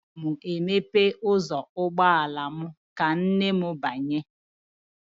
Ana m emepe ụzọ ụgbọala m ka nne m banye